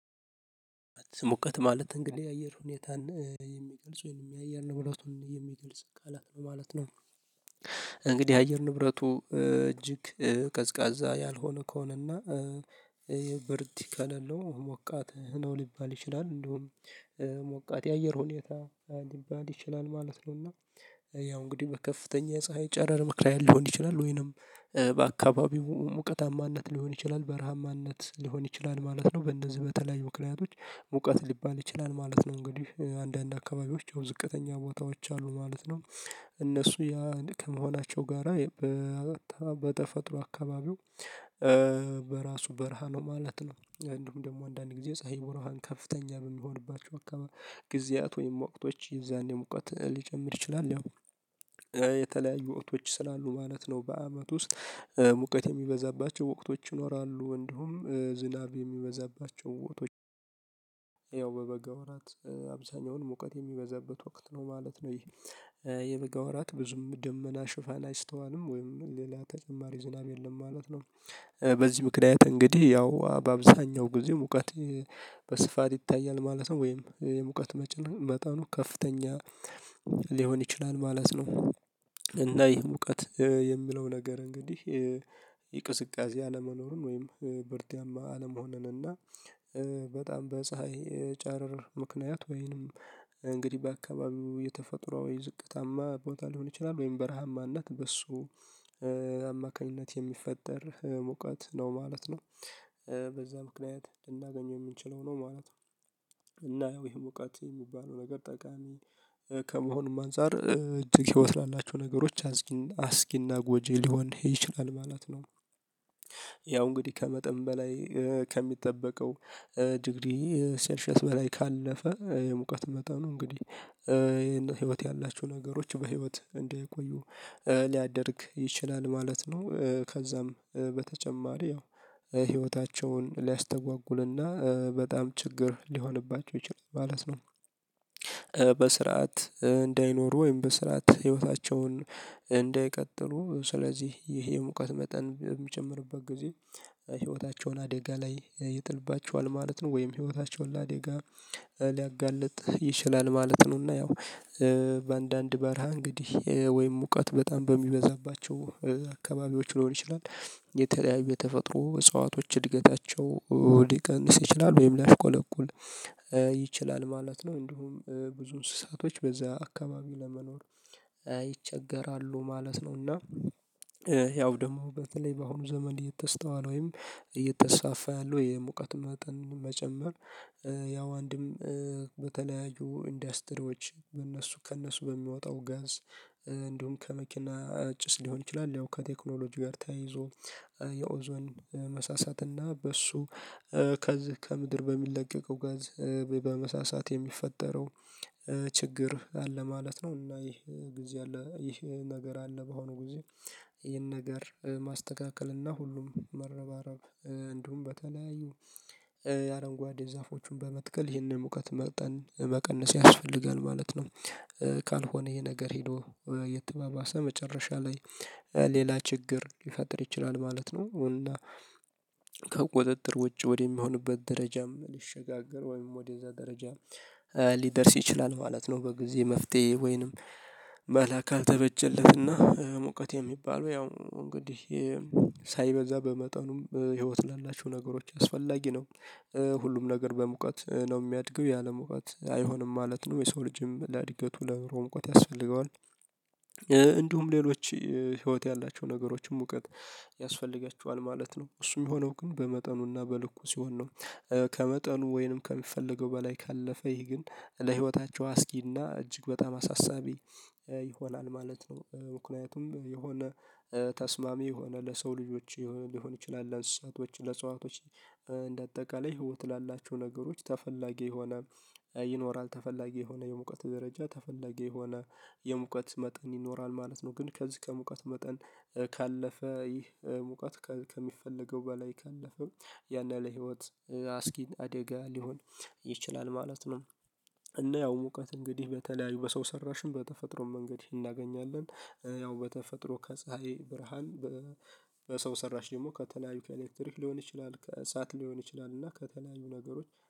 ሙቀት ማለት እንግዲህ የአየር ሁኔታን የሚገልጽ ወይም የአየር ነገሮችን የሚገልጽ ቃላት ነው ማለት ነው። እንግዲህ የአየር ንብረቱ እጅግ ቀዝቃዛ ያልሆነ ከሆነና ብርድ ከሌለው ሞቃት ነው ሊባል ይችላል። እንደውም ሞቃት የአየር ሁኔታ ሊባል ይችላል ማለት ነውና። ያው እንግዲህ በከፍተኛ የፀሀይ ጨረር ምከንያት ሊሆን ይችላል ወይንም በአካባቢው ሙቀታማነት ሊሆን ይችላል በረሃማነት ሊሆን ይችላል ማለት ነው በእነዚህ በተለያዩ ምክንያቶች ሙቀት ሊባል ይችላል ማለት ነው። እንግዲህ አንዳንድ አካባቢዎች የውድቀተኛ ቦታዎች አሉ ማለት ነው እነሱ ያ ከመሆናቸው ጋራ በተፈጥሮ አካባቢው በራሱ በረሃ ነው ማለት ነው። እንዲሁም ደግሞ አንዳንዴ ጊዜ ፀሀይ ብርሃን ከፍተኛ በምንሆንባቸው አካባቢ ጊዜያት ወይም ወቅቶች የዛኔ ሙቀት ሊጨምር ይችላል ያው የተለያዩ ወቅቶች ስላሉ ማለት ነው። በአመት ውስጥ ሙቀት የሚበዛባቸው ወቅቶች ይኖራሉ እንዲሁም ዝናብ የሚበዛባቸው ወቅቶች በበጋ ወራት አብዛኛውን ሙቀት የሚበዛበት ወቅት ነው ማለት ነው። ይሄ የበጋ ወራት ብዙም ደመና ሽፋን አይስተዋልም ወይም ሌላ ተጨማሪ ዝናብ የለም ማለት ነው። በዚህ ምክንያት እንግዲህ ያው በአብዛኛው ጊዜ ሙቀት በስፋት ይታያል ማለት ነው ወይም የሙቀት መጠኑ ከፍተኛ ሊሆን ይችላል ማለት ነው። እና ይሄ ሙቀት የሚለው ነገር እንግዲህ የቅዝቃዜ አለመኖሩን ወይም ብርዳማ አለመሆኑን እና በጣም በፀሀይ ጨረር ምክንያት ወይንም እንግዲህ በአካባቢው የተፈጥሮ ወይ ዝቅታማ ቦታ ሊሆን ይችላል ወይም በረሃማነት በሱ አማካኝነት የሚፈጠር ሙቀት ነው ማለት ነው። በዛ ምክንያት ልናገኘው የምንችለው ነው ማለት ነው። እና ይሄ ሙቀት የሚባለው ነገር ጠቃሚ ከመሆኑም አንፃር እጅግ ህይወት ላላችሁ ነገሮች አስጊና ጎጂ ሊሆን ይችላል ማለት ነው። ያው እንግዲህ ከመጠን በላይ ከሚጠበቀው ዲግሪ ሴልሽየስ በላይ ካለፈ የሙቀት መጠኑ እንግዲህ ይሄን ህይወት ያላችው ነገሮች በህይወት እንዳይቆዩ ሊያደርግ ይችላል ማለት ነው ከዛም በተጨማሪ ያው ህይወታቸውን ሊያስተጓጉልና በጣም ችግር ሊሆንባቸው ይችላል ማለት ነው። በስርዓት እንዳይኖሩ ወይም በስርዓት ህይወታቸውን እንዳይቀጥሉ ስለዚህ ይሄ የሙቀት መጠን የሚጨምርበት ጊዜ ህይወታቸውን አደጋ ላይ ይጥልባቸዋል ማለት ነው ወይም ህይወታቸውን ለአደጋ ሊያጋልጥ ይችላል ማለት ነው። እና ያው በአንዳንድ በረሃ እንግዲህ ወይም ሙቀት በጣም በሚበዛባቸው አካባቢዎች ሊሆን ይችላል የተለያዩ የተፈጥሮ እጽዋቶች እድገታቸው ሊቀንስ ይችላል ወይም ሊያሽቆለቁል ይችላል ማለት ነው እንዲሁም ብዙ እንስሳቶች በዛ አካባቢ ለመኖር ይቸገራሉ ማለት ነው። እና ያው ደግሞ በተለይ በአሁኑ ዘመን እየተስተዋለ ወይም እየተስፋፋ ያለው የሙቀት መጠን መጨመር ያው አንድም በተለያዩ ኢንደስትሪዎች በእነሱ ከእነሱ በሚወጣው ጋዝ እንዲሁም ከመኪና ጭስ ሊሆን ይችላል። ያው ከቴክኖሎጂ ጋር ተያይዞ የኦዞን መሳሳት እና በሱ ከዚህ ከምድር በሚለቀቀው ጋዝ በመሳሳት የሚፈጠረው ችግር አለ ማለት ነው። እና ይህ ጊዜ ያለ ይህ ነገር አለ በሆነ ጊዜ ይህን ነገር ማስተካከል እና ሁሉም መረባረብ እንዲሁም በተለያዩ የአረንጓዴ ዛፎቹን በመትከል ይህንን ሙቀት መጠን መቀነስ ያስፈልጋል ማለት ነው። ካልሆነ ይሄ ነገር ሄዶ እየተባባሰ መጨረሻ ላይ ሌላ ችግር ሊፈጥር ይችላል ማለት ነው። እና ከቁጥጥር ውጪ ወደሚሆንበት ደረጃም ሊሸጋገር ወይም ወደዛ ደረጃ ሊደርስ ይችላል ማለት ነው። በጊዜ መፍትሄ ወይንም መላ ካልተበጀለት እና ሙቀት የሚባለው ያው እንግዲህ ሳይበዛ በመጠኑም ህይወት ላላችሁ ነገሮች አስፈላጊ ነው ሁሉም ነገር በሙቀት ነው የሚያድገው ያለሙቀት አይሆንም ማለት ነው። የሰው ልጅም ለአድገቱ ለኑሮው ሙቀት ያስፈልገዋል እንዲሁም ሌሎች ህይወት ያላቸው ነገሮችን ሙቀት ያስፈልገቸዋል ማለት ነው እሱም የሆነው ግን በመጠኑና በልኩ ሲሆን ነው። ከመጠኑ ወይንም ከሚፈለገው በላይ ካለፈ ይህ ግን ለህይወታቸው አስጊና እጅግ በጣም አሳሳቢ ይሆናል ማለት ነው። ምክንያቱም የሆነ ተስማሚ የሆነ ለሰው ልጆች ሊሆን ይችላል ለእንስሳቶች ለእንጽዋቶች እንደ አጠቃላይ ህይወት ላላችሁ ነገሮች ተፈላጊ የሆነ ይኖራል ተፈላጊ የሆነ የሙቀት ደረጃ ተፈላጊ የሆነ የሙቀት መጠን ይኖራል ማለት ነው። ግን ከዚህ ከሙቀት መጠን ካለፈ ይህ ሙቀት ከሚፈለገው በላይ ካለፈ ያን ያህል ህይወት አስጊ አደጋ ሊሆን ይችላል ማለት ነው። እና ያው ሙቀት እንግዲህ በተለያዩ በሰው ሰራሽም በተፈጥሮ መንገድ እናገኛለን ያው በተፈጥሮ ከፀሀይ ብርሃን በሰው ሰራሽ ደግሞ ከተለያዩ ኬሌክትሪክ ሊሆን ይችላል ከእሳት ሊሆን ይችላል እና ከተለያዩ ነገሮች